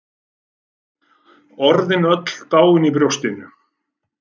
Orðin öll dáin í brjóstinu.